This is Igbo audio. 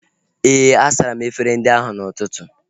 Éè, a sara m efere ndị ahu n'ụtụtụ